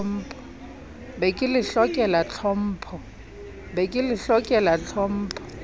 be ke le hlokela tlhompho